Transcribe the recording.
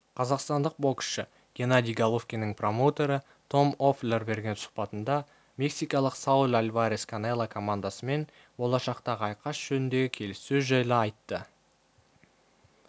қазақстандық боксшы геннадий головкиннің промоутері том лффлер берген сұхбатында мексикалық саул альварес канело командасымен болашақтағы айқас жөніндегі келіссөз жайлы айтты